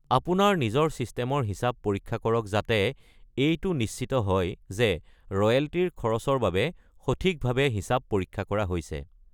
আপোনাৰ নিজৰ ছিষ্টেমৰ হিচাপ পৰীক্ষা কৰক যাতে এইটো নিশ্চিত হয় যে ৰয়েল্টিৰ খৰচৰ বাবে সঠিকভাৱে হিচাপ পৰীক্ষা কৰা হৈছে।